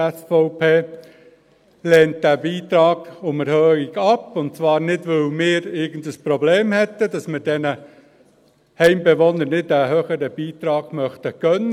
Die SVP lehnt diesen Beitrag um Erhöhung ab, und zwar nicht, weil wir irgendein Problem damit hätten und diesen Heimbewohnern einen höheren Beitrag nicht gönnen würden.